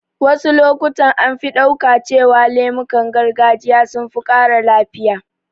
Wasu lokutan an fi ɗauka cewa lemukan gargajiya sun fi ƙara lafiya